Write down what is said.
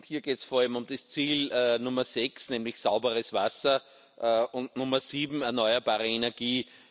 Hier geht es vor allem um das Ziel Nummer 6, nämlich sauberes Wasser, und Nummer 7, erneuerbare Energie.